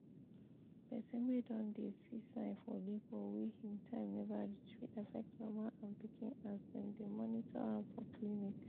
persin wey don dey see sign for labor wey him time never reach fit affect mama and pikin as dem dey monitor am for clinic